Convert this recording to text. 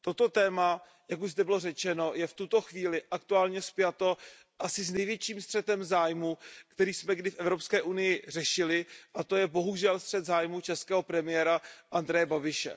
Toto téma, jak už zde bylo řečeno, je v tuto chvíli aktuálně spjato asi s největším střetem zájmů, který jsme kdy v Evropské unii řešili, a to je bohužel střet zájmů českého premiéra Andreje Babiše.